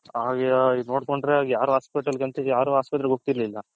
ನೋಡ್ಕೊಂಡ್ರೆ ಯಾರ hospital ಹೋಗ್ತಿರ್ಲಿಲ್ಲ .